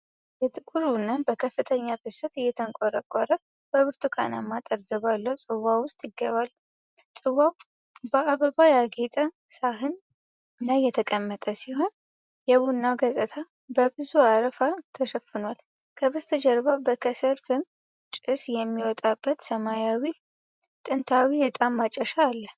የጥቁር ቡና በከፍተኛ ፍሰት እየተንቆረቆረ በብርቱካናማ ጠርዝ ባለው ጽዋ ውስጥ ይገባል። ጽዋው በአበባ ያጌጠ ሳህን ላይ የተቀመጠ ሲሆን፣ የቡናው ገጽታ በብዙ አረፋ ተሸፍኗል። ከበስተጀርባ በከሰል ፍም ጭስ የሚወጣበት ሰማያዊ ጥንታዊ ዕጣን ማጨሻ አለ።